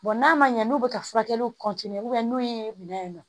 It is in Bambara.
n'a ma ɲɛ n'u bɛ ka furakɛliw n'u ye minɛ in nɔ